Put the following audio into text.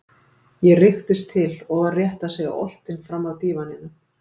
ég rykktist til og var rétt að segja oltinn framaf dívaninum.